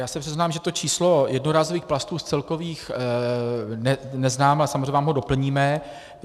Já se přiznám, že to číslo jednorázových plastů z celkových neznám, ale samozřejmě vám ho doplníme.